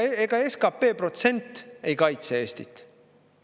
Ega SKP protsent ei kaitse Eestit.